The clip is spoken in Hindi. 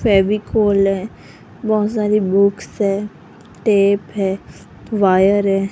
फेविकोल है बहुत सारी बुक्स है टेप है वायर है।